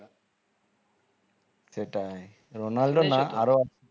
সেটাই রোনালদো না আরো